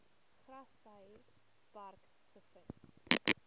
grassy park gevind